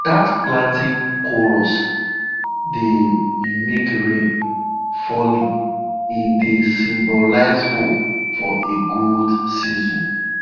dat planting chorus dey mimic rain falling e dey symbolize hope for a good season